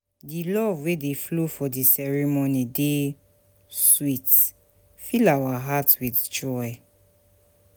Di love wey dey flow for di ceremony dey sweet, fill our heart with joy.